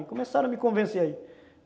E começaram a me convencer aí.